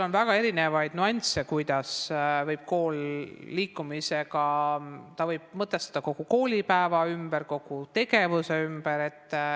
On väga erinevaid nüansse, kuidas kool võib liikumise abil kogu koolipäeva, kogu tegevuse ümber mõtestada.